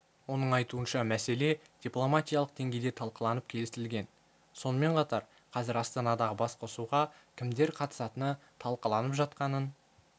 оның айтуынша мәселе дипломатиялық деңгейде талқыланып келісілген сонымен қатар қазір астанадағы басқосуға кімдер қатысатыны талқыланып жатқанын